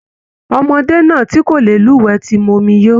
Ọmọdé náà tí kò lè luwẹ̀ tí mu omi yóó.